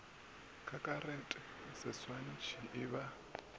ka karate seswantšhi e ba